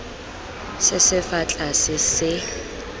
se se fa tlase se